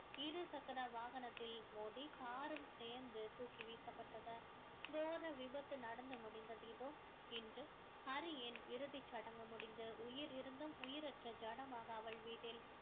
இருசக்கர வாகனத்தில் மோதி car உம் சேர்ந்து தூக்கி வீசப்பட்டது கோர விபத்து நடந்து முடிந்தது இதோ இன்று ஹரியின் இறுதிச் சடங்கு முடிந்து உயிர் இருந்தும் உயிரற்ற ஜடமாக அவள் வீட்டில்